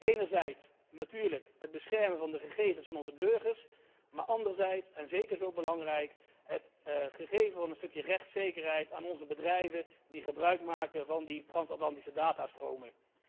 Enerzijds natuurlijk het beschermen van de gegevens van onze burgers, maar anderzijds, en zeker zo belangrijk, het geven van een stukje rechtszekerheid aan onze bedrijven die gebruikmaken van die trans Atlantische datastromen.